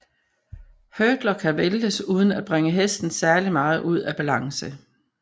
Hurdler kan væltes uden at bringe hesten særlig meget ud af balance